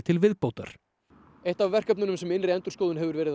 til viðbótar eitt verkefnanna sem innri endurskoðun hefur verið